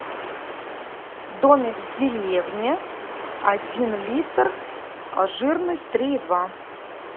домик в деревне один литр жирность три и два